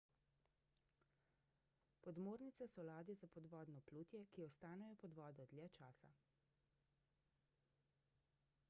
podmornice so ladje za podvodno plutje ki ostanejo pod vodo dlje časa